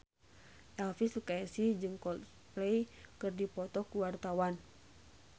Elvy Sukaesih jeung Coldplay keur dipoto ku wartawan